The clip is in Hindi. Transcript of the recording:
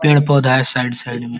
पेड़-पौधा है साइड साइड में।